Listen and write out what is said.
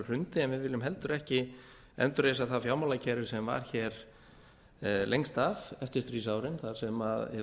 hrundi en við viljum heldur ekki endurreisa það fjármálakerfi sem var lengst af eftir stríðsárin þar sem hið